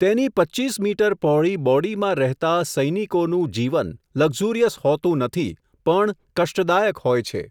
તેની પચ્ચીચ મીટર પહોળી, બોડીમાં રહેતા, સૈનિકોનું, જીવન, લકઝુરિયસ હોતું નથી, પણ, કષ્ટદાયક હોય છે.